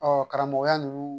Ɔ karamɔgɔya ninnu